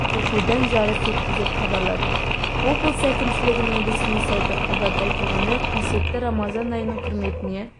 оқудан жарыс өтті деп хабарлады облыс әкімшілігінің ресми сайты хабарда айтылғандай қасиетті рамазан айының құрметіне